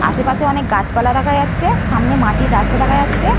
আশেপাশে অনেক গাছপালা দেখা যাচ্ছে। সামনে মাটির রাস্তা দেখা যাচ্ছে।